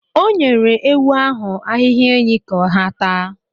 O nyere ewu ahụ ahịhịa enyí ka ha taa.